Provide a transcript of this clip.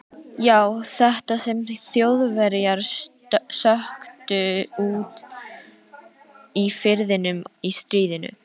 Já, þetta sem Þjóðverjar sökktu úti í firðinum í stríðinu.